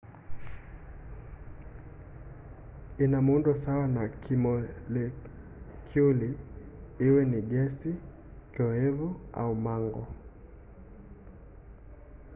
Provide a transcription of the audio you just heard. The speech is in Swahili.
ina muundo sawa wa kimolekyuli iwe ni gesi kioevu au mango